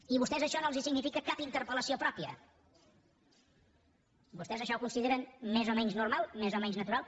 i a vostès això no els significa cap interpel·lació pròpia vostès això ho consideren més o menys normal més o menys natural